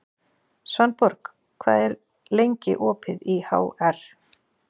Svanborg, hvað er lengi opið í HR?